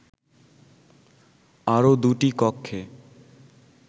আরো দুটি কক্ষে